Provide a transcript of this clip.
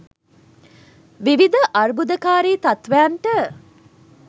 විවිධ අර්බුදකාරී තත්ත්වයන්ට